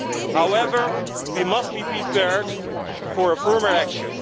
However, we must be prepared for firmer action.